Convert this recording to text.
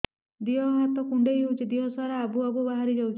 ଦିହ ହାତ କୁଣ୍ଡେଇ ହଉଛି ଦିହ ସାରା ଆବୁ ଆବୁ ବାହାରି ଯାଉଛି